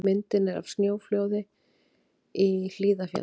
Myndin er af snjóflóði í Hlíðarfjalli.